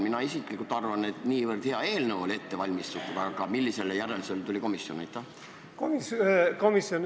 Mina isiklikult arvan, et niivõrd hea eelnõu oli ette valmistatud, aga millisele järeldusele tuli komisjon?